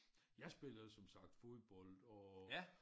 Jeg spiller jo som sagt fodbold og